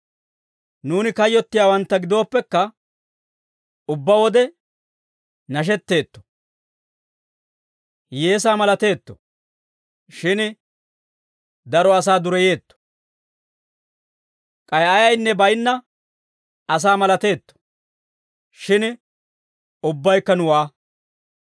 Nuuni kayyottiyaawantta gidooppekka, ubbaa wode nashetteetto. Hiyyeesaa malateetto; shin daro asaa dureyeetto; k'ay ayaynne baynna asaa malateetto; shin ubbabaykka nuwaa.